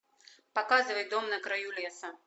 показывай дом на краю леса